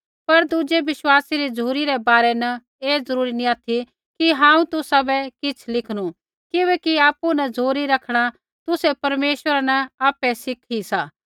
पर दुज़ै विश्वासी री झ़ुरी रै बारै न ऐ ज़रूरी नी ऑथि कि हांऊँ तुसाबै किछ़ लिखनू किबैकि आपु न झ़ुरी रैखणा तुसै परमेश्वरा न आपै सीखू सा